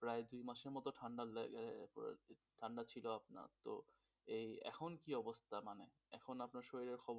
প্রায় দুই মাসের মত ঠান্ডা ঠান্ডা ছিল আপনার তো এই এখন কি অবস্থা মানে এখন আপনার শরীরের খবরা